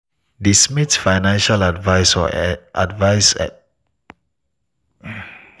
di smiths' financial advisor encourage dem to diversify dia investments by checking alternative asset classes.